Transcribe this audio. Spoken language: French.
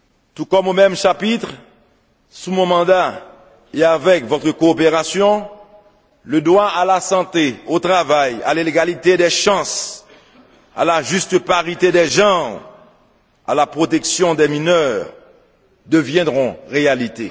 Tout comme au même chapitre, sous mon mandat et avec votre coopération, le droit à la santé, au travail, à l'égalité des chances, à la juste parité des genres, à la protection des mineurs deviendront réalité.